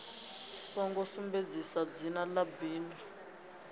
songo sumbedzisa dzina ḽa bindu